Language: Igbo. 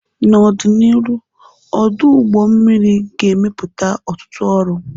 N'ọdịnihu, ọdụ ụgbọ mmiri ga-emepụta ọtụtụ ọrụ.